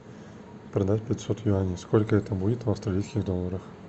продать пятьсот юаней сколько это будет в австралийских долларах